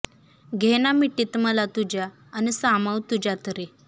घे ना मिठीत मला तुझ्या अन् सामावं तूझ्यात रे